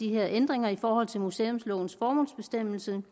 ændringer i forhold til museumslovens formålsbestemmelse